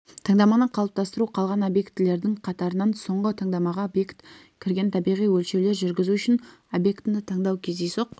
таңдаманы қалыптастыру қалған объектілердің қатарынан соңғы таңдамаға объект кірген табиғи өлшеулер жүргізу үшін объектіні таңдау кездейсоқ